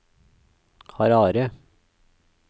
Harare